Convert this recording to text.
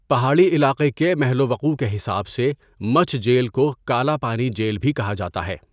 پہاڑٰی علاقے کے محل وقوع کے حساب سے مچھ جیل کو کالا پانی جیل بھی کہا جاتا ہے.